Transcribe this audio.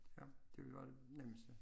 Ja det ville jo være det nemmeste